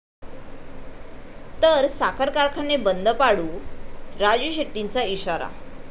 ...तर साखर कारखाने बंद पाडू, राजू शेट्टींचा इशारा